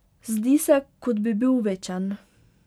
Zdi se, kot bi bil večen.